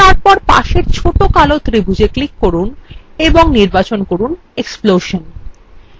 তারপর পাশের ছোট কালো ত্রিভূজএ click করুন এবং নির্বাচন করুন explosion